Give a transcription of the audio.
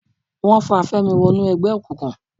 Wọ́n fa Fẹ́mi wọnú ẹgbẹ́ òkùnkùn